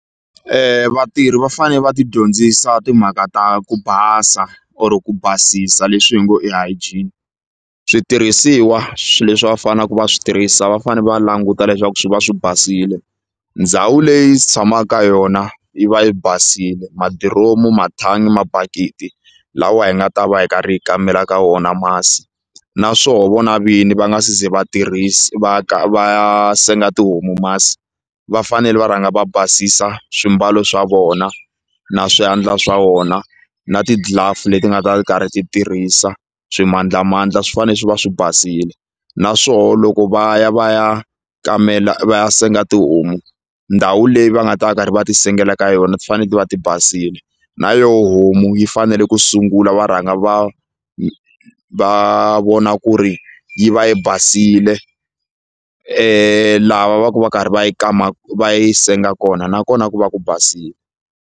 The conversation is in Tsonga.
Vatirhi va fane va ti dyondzisa timhaka ta ku basa or ku basisa leswi hi ngo hygiene switirhisiwa swi leswi va fanaku va swi tirhisa va fane va languta leswaku swi va swi basile, ndhawu leyi tshama ka yona yi va yi basile madiromu mathangi mabakiti lawa hi nga ta va hi karhi hi kamela ka wona masi na swo vona vini va nga se ze vatirhisa va va senga tihomu masi va fanele va rhanga va basisa swimbalo swa vona na swiyandla swa wona na ti-glove leti nga ta ti karhi ti tirhisa swimandlamandla swi fane swi va swi basile naswoho loko va ya va ya kamela va senga tihomu ndhawu leyi va nga ta va karhi va ti sengela ka yona ti fane ti va ti basile na yo homu yi fanele ku sungula va rhanga va va vona ku ri yi va yi basile lava va ku va karhi va yi kama va yi senga kona nakona ku va ku basile.